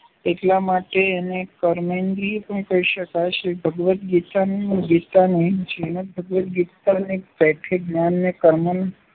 એટલા માટે એને કર્મેન્દ્રિય પણ કહી શકાય. શ્રી ભગવદ્ગીતાની શ્રીમદ્ ભગવદ્ગીતાની પેઠે જ્ઞાન ને કર્મનો